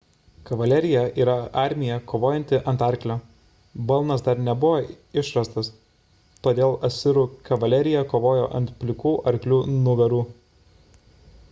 kavalerija yra armija kovojanti ant arklio balnas dar nebuvo išrastas todėl asirų kavalerija kovojo ant plikų arklių nugarų